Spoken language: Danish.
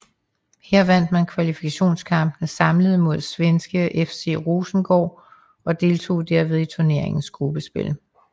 Her vandt man kvalifikationskampene samlet mod svenske FC Rosengård og deltog derved i turneringens gruppespil